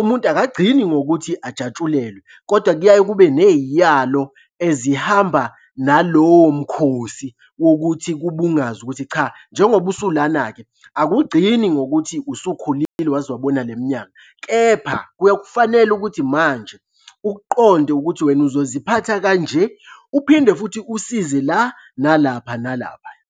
umuntu akagcini ngokuthi ajatshulelwe kodwa kuyaye kube ney'yalo ezihamba nalowo mkhosi. Wokuthi kubungazwe ukuthi cha njengoba usulana-ke, akugcini ngokuthi usukhulile waze wabona le minyaka, kepha kuyakufanele ukuthi manje ukuqonde ukuthi wena uzoziphatha kanje, uphinde futhi usize la, nalapha, nalaphaya.